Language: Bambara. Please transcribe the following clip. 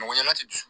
Mɔgɔ ɲanat